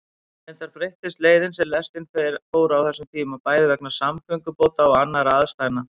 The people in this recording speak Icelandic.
Reyndar breyttist leiðin sem lestin fór á þessum tíma, bæði vegna samgöngubóta og annarra aðstæðna.